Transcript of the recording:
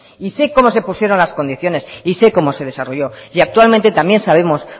y sé cómo se pusieron las condiciones sé cómo desarrolló y actualmente también sabemos